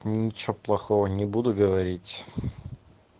ничего плохого не буду говорить